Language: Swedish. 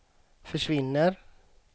försvinner